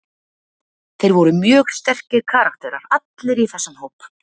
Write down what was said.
Þeir voru mjög sterkir karakterar allir í þessum hóp.